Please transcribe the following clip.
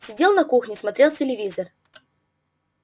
сидел на кухне смотрел телевизор